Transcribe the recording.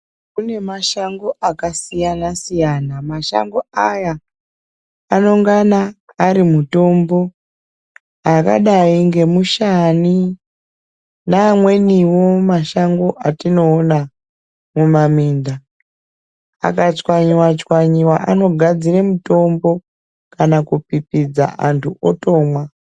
Kune mashango akasiyana siyana. Mashango aya anengana ari mutombo akadai nemushani. Neamweniwo mashango atinoona mumaminda. Akachwanya chwanya anogadzira mutombo kana kupipidza antu wotomwa.